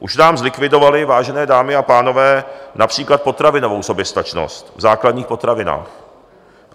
Už nám zlikvidovali, vážené dámy a pánové, například potravinovou soběstačnost, v základních potravinách.